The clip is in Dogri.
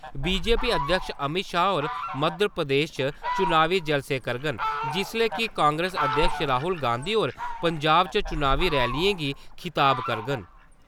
बीजेपी अध्यक्ष अमित शाह होर मध्यप्रदेश च चुनावी जलसें करङन जिसलै कि कांग्रेस अध्यक्ष राहुल गांधी होर पंजाब च चुनावी रैलियें गी खिताब करङन।